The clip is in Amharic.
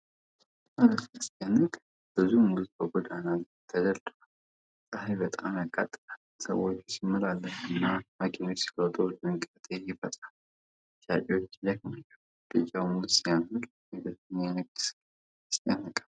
እረ ሲያስጨንቅ! ብዙ ሙዝ በጎዳና ላይ ተደርድሯል። ፀሀይ በጣም ያቃጥላል። ሰዎች ሲመላለሱና መኪኖች ሲሮጡ ድንጋጤ ይፈጥራል። ሻጮቹ ይደክማቸዋል። ቢጫው ሙዝ ሲያምር፣ ነገር ግን የንግድ ሥራው ያስጨንቃል።